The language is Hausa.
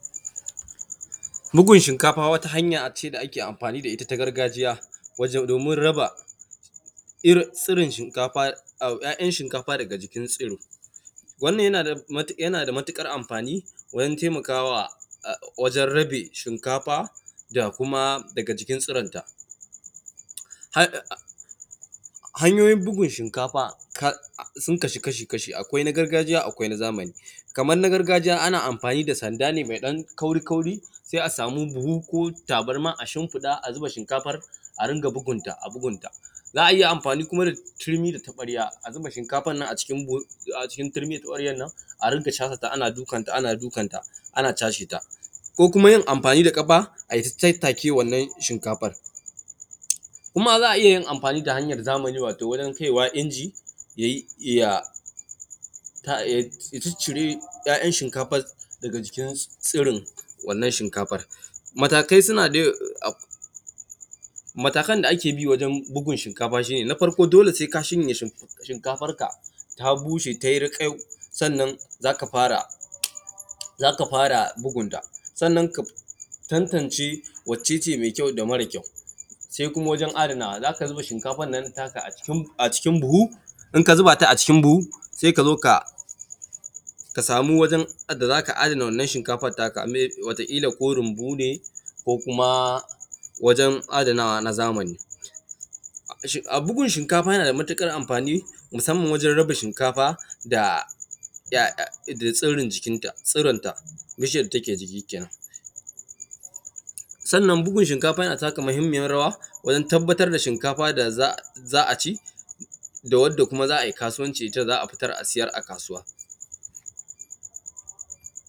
Bugun shinkafa wata hanya ce da ake anfani da ita na gargajiya domin raba ‘ya’yan shinkafa daga jikin tsiro, wannan yana da matuƙar anfani wajen taimakawa wajen rabe shinkafa daga jikin tsiranta. Hanyoyin bugun shinkafa sun kasu kashi-kashi akwai na gargajiya da na zamani kamar na gargajiya ana anfani da sanda ne me ɗan kauri-kauri da buhu ka tabarma a shinfiɗa a zuba shinkafan a dunga bugun ta, za a iya anfani da tirmi da taɓarya a zuba shinkafan nan a cikin tirmi da taɓaryan nan a dinga dukanta, ana dukanta ana cashe ta ko kuma yin anfani da ƙafa ta tattake wannan shinkafan kuma za a iya yin anfani da hanyan zamani wajen kaiwa inji ya ciccire ‘ya’yan shinkafan daga jikin tsirin wannan shinkafan. Matakan da ake bi wajen bugun shinkafan shi ne na farko dole se ka shanya shinkafanka ta bushe ta yi raƙayau sannan za ka fara bugunta sannan ka tantance wacce ce me kyau da mara kyau, se kuma wajen adanawa za ka zuba shinkafan nan naka a cikin buhu in ka zuba ta a cikin buhu sai ka zo ka sama wajen da za ka ajiye wannan shinkafan naka. Wataƙila ko runbu ko kuma wajen adanawa na zamani, bugun shinkafa yana da matuƙar anfani musamman wajen raba shinkafa da tsurun jikinta, sannan bugun shinkafa na taka muhinmiyan rawa wajen tabbatar da shinkafa da za a ci da wanda kuma za a yi kasuwanci da ita za a siyar a kasuwa.